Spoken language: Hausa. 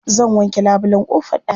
Zan wanke labulen ƙofar ɗakin.